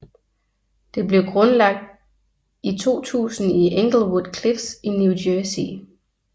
Det blev grundlagt i 2000 i Englewood Cliffs i New Jersey